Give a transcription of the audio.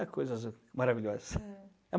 É coisas maravilhosa. É.